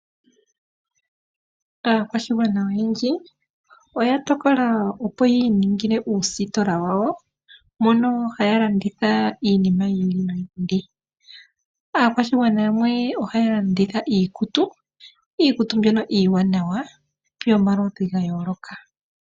Aakwashigwana oyendji oya tokola opo yi iningile uusitola wa wo mono haya landitha iinima yi ili noyi ili. Aakwashigwana yamwe ohaya landitha iikutu, iikutu mbyoka iiwanawa yomaludhi ga yooloka.